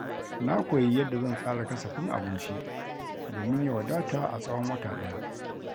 Na koyi yadda zan tsara kasafin abinci domin ya wadata a tsawon wata ɗaya.